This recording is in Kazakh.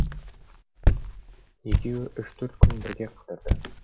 екеуі үш төрт күн бірге қыдырды